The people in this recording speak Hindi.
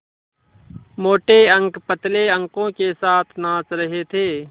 मोटे अंक पतले अंकों के साथ नाच रहे थे